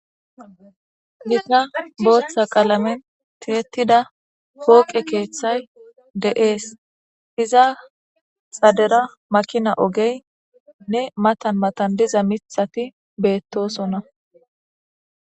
Botha qaalameni titetidda poqe kethayi deyesi. Iza xaddera makina oggeyine mattani mattani diza matati betosona.